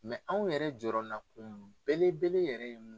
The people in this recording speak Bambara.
anw yɛrɛ jɔyɔrɔnakun belebele yɛrɛ ye mun